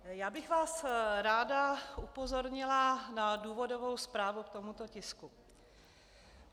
Já bych vás ráda upozornila na důvodovou zprávu k tomuto tisku.